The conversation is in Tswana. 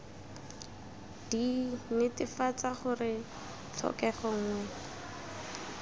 d netefatsa gore tlhokego nngwe